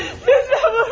Öldürməyin!